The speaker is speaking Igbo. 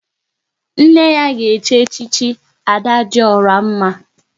Nne ya ga echi echichi Ada dị ọra mma